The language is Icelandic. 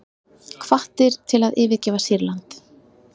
Hvattir til að yfirgefa Sýrland